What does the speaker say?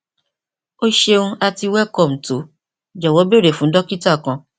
o ṣeun ati welcome to jọwọ beere fun dokita kan